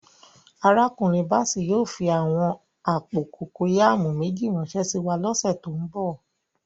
Arákùnrin Bàssèy yóò fí àwọn àpò kòkọyàmù méjì ránsẹ síwa lọ̀ṣẹ̀ tó nbọ̀.